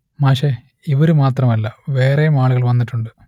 മാഷെ ഇവർ മാത്രമല്ല വേറെയും ആളുകൾ വന്നിട്ടുണ്ട്